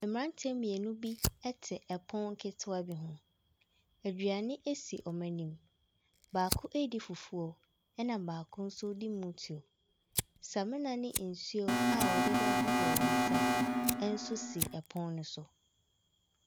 Mmeranteɛ mmienu bi te pono ketewa bi ho. Aduane si wɔn anim. Baako redi fufuo, ɛna baako nso redu motuo. Samina ne nsuo a wɔde bɛhohoro wɔn nsa nso si pono no so.